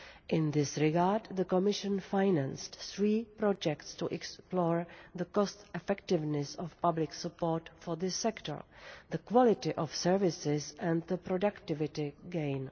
In this regard, the Commission financed three projects to explore the cost-effectiveness of public support for this sector, the quality of services and the productivity gain.